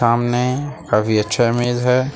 सामने काफी अच्छा इमेज है।